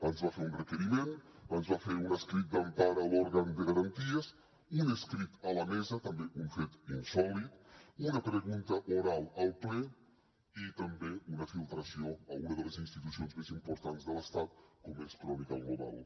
ens va fer un requeriment ens va fer un escrit d’empara a l’òrgan de garanties un escrit a la mesa també un fet insòlit una pregunta oral al ple i també una filtració a una de les institucions més importants de l’estat com és crónica global